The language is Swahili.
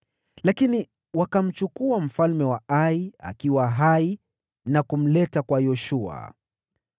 Lakini wakamchukua mfalme wa Ai akiwa hai na kumleta kwa Yoshua.